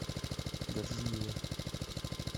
гаджиевой